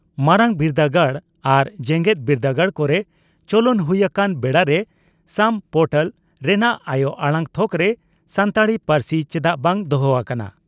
ᱢᱟᱨᱟᱝ ᱵᱤᱨᱫᱟᱹᱜᱟᱲ ᱟᱨ ᱡᱮᱜᱮᱛ ᱵᱤᱨᱫᱟᱹᱜᱟᱲ ᱠᱚᱨᱮ ᱪᱚᱞᱚᱱ ᱦᱩᱭ ᱟᱠᱟᱱ ᱵᱮᱲᱟᱨᱮ ᱥᱟᱢ ᱯᱚᱨᱴᱟᱞ ᱨᱮᱱᱟᱜ ᱟᱭᱚ ᱟᱲᱟᱝ ᱛᱷᱚᱠᱨᱮ ᱥᱟᱱᱛᱟᱲᱤ ᱯᱟᱹᱨᱥᱤ ᱪᱮᱫᱟᱜ ᱵᱟᱝ ᱫᱚᱦᱚ ᱟᱠᱟᱱᱟ